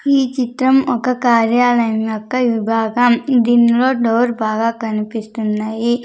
ఈ చిత్రం ఒక కార్యాలయం యొక్క విభాగం దీనిలో డోర్ బాగా కనిపిస్తున్నాయి.